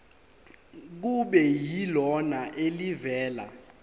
kube yilona elivela